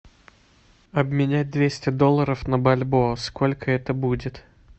обменять двести долларов на бальбоа сколько это будет